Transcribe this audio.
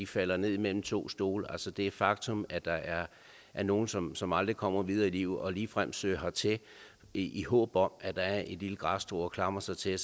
falder mellem to stole altså det er et faktum at der er er nogle som som aldrig kommer videre i livet og ligefrem søger hertil i håb om at der er et lille græsstrå at klamre sig til